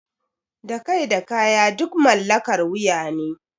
Da kai da kaya duk mallakar wuya ne.